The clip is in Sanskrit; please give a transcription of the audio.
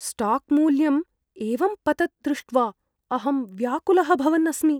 स्टाक् मूल्यं एवं पतत् दृष्ट्वा अहं व्याकुलः भवन् अस्मि।